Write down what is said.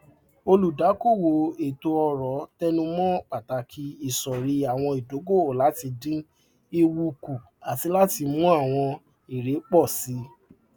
olùdámọràn etoọrọ tẹnumọ pàtàkì isọrí àwọn ìdókòwò láti dín ewu kù àti láti mú àwọn èrè pọ síi